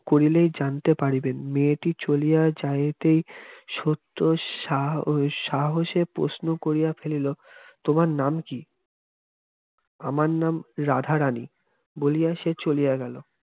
করিলেই জানতে পারিবে মেয়েটি চলিয়া যাইতে সত্য সাহ সাহসে প্রশ্ন করিয়া ফেলিল তোমার নাম কি? আমার নাম রাধারানী বলিয়া সে চলিয়া গেল